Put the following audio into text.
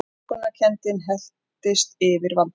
Innilokunarkenndin helltist yfir Valdimar.